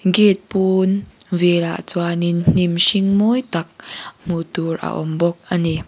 gate pâwn vêlah chuanin hnim hring mawi tak hmuh tûr a awm bawk a ni.